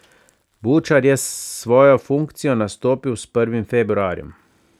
Bučar je svojo funkcijo nastopil s prvim februarjem.